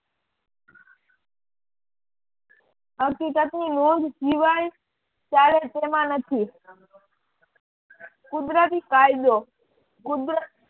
હકીકતની નોંધ જીવાય ત્યારે તેમાં નથી કુદરતી કાયદો કુદરત